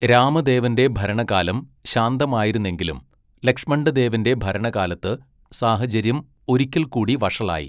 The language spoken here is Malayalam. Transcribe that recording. രാമദേവൻ്റെ ഭരണകാലം ശാന്തമായിരുന്നെങ്കിലും ലക്ഷ്മണ്ഡദേവൻ്റെ ഭരണകാലത്ത് സാഹചര്യം ഒരിക്കൽ കൂടി വഷളായി.